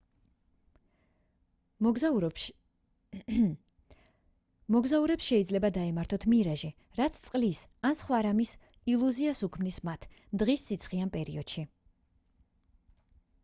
მოგზაურებს შეიძლება დაემართთ მირაჟი რაც წყლის ან სხვა რამის ილუზიას უქმნის მათ დღის სიცხიან პერიოდში